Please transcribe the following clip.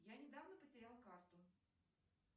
я недавно потеряла карту